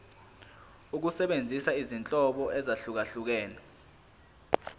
ukusebenzisa izinhlobo ezahlukehlukene